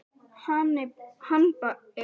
Hannibal, kveiktu á sjónvarpinu.